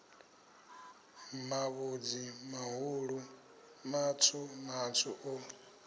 mavhudzi mahulu matswu matswu o